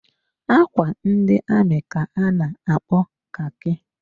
Ákwà ndị amị ka a na-akpo khaki.